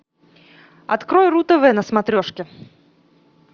открой ру тв на смотрешке